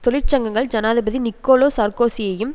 தொழிற்சங்கங்கள் ஜனாதிபதி நிக்கோலோ சார்க்கோசியையும்